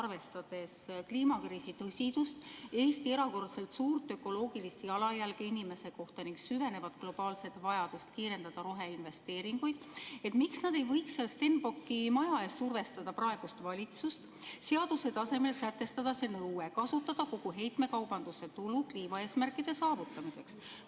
Arvestades kliimakriisi tõsidust, Eesti erakordselt suurt ökoloogilist jalajälge inimese kohta ning süvenevat globaalset vajadust kiirendada roheinvesteeringuid, miks nad ei võiks seal Stenbocki maja ees survestada praegust valitsust, et seaduse tasemel sätestataks nõue kasutada kogu heitmekaubanduse tulu kliimaeesmärkide saavutamiseks?